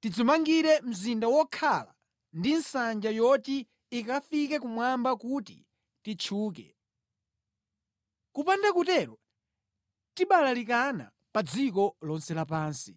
tidzimangire mzinda wokhala ndi nsanja yoti ikafike kumwamba kuti titchuke. Kupanda kutero tibalalikana pa dziko lonse lapansi.”